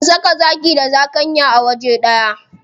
An saka zaki da zakanya a waje ɗaya.